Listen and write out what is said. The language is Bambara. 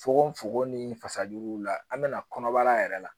Fokon fokon ni fasajuguw la an bɛna kɔnɔbara yɛrɛ la